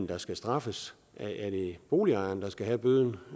der skal straffes er det boligejerne der skal have bøden